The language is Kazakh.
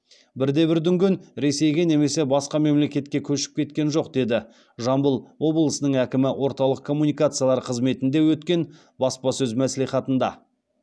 бірде бір дүнген ресейге немесе басқа мемлекетке көшіп кеткен жоқ деді жамбыл обылысының әкімі орталық коммуникациялар қызметінде өткен баспасөз мәслихатында